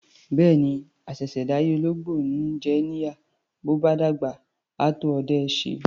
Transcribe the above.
Bẹ́ẹ̀ni, àṣẹ̀ṣẹ̀ dáyé ológbò ni í jìyà, bó bá dàgbà, á tó ọdẹ ẹ́ ṣe.